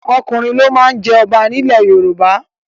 Ọkùnrin ló má ń jẹ ọba nílẹ̀ Yorùbá.